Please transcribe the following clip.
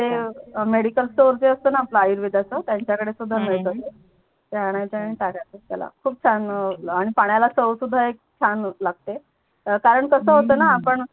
Medical Store जे असतात णा आपल आयुर्वेदाच त्यांच्या कडे सुद्धा हम्म मिडतात ते ते आणायच आणि टाक्याच त्याला खूप छान आणि पाण्याला चव सुद्धा एक छान लागते कारण कस होते णा